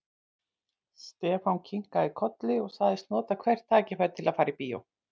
Stefán kinkaði kolli og sagðist nota hvert tækifæri til að fara í bíó.